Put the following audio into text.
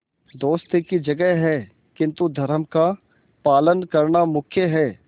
दोस्ती की जगह है किंतु धर्म का पालन करना मुख्य है